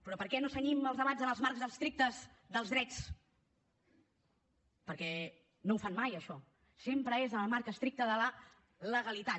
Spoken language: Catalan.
però per què no cenyim els debats en els marcs estrictes dels drets perquè no ho fan mai això sempre és en el marc estricte de la legalitat